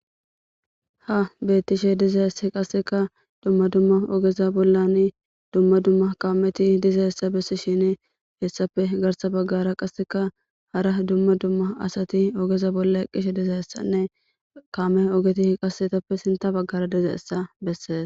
Ha beettishe diza esse qasseka dumma dumma ogeza bollan dumma dumma kaameti diza essa bessi shini hessape garsa baggara qasseka hara dumma dumma asati ogeza bolla qqishe diza essanne kaame ogeti h qasetoppe sinta baggara diza essa besses.